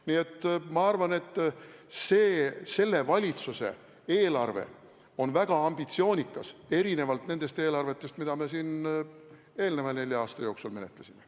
Nii et ma arvan, et selle valitsuse eelarve on väga ambitsioonikas erinevalt nendest eelarvetest, mida me siin eelnenud nelja aasta jooksul menetlesime.